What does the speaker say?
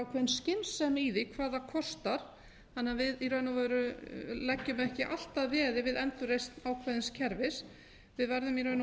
ákveðin skynsemi í því hvað það kostar þannig að við í raun og veru leggjum ekki allt að veði við endurreisn ákveðins kerfis við verðum í raun og veru